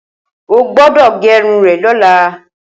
Ó gbọdọ gẹrún rẹ̀ lọlá